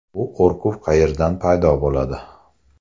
Bu qo‘rquv qayerdan paydo bo‘ladi?